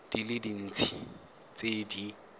di le dintsi tse di